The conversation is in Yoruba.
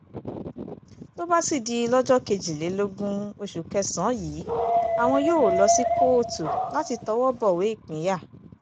tó bá sì di lọ́jọ́ kejìlélógún oṣù kẹsàn-án yìí àwọn yóò lọ sí kóòtù láti tọwọ́ bọ̀wé ìpínyà